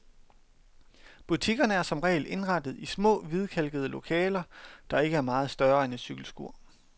Butikkerne er som regel indrettet i små hvidkalkede lokaler, der ikke er meget større end et cykelskur.